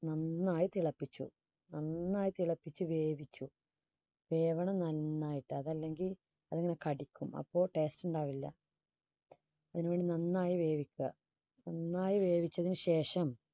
നന്നായി തിളപ്പിച്ചു നന്നായി തിളപ്പിച്ചു വേവിച്ചു വേകണം നന്നായിട്ട് അതല്ലെങ്കിൽ അതിന് കടിക്കും അപ്പ taste ഉണ്ടാവുല്ല അതിനുവേണ്ടി നന്നായി വേവിക്കുക നന്നായി വേവിച്ചതിന് ശേഷം